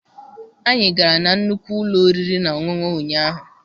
Anyị gara na nnukwu ụlọ oriri na ọṅụṅụ ụnyaahụ.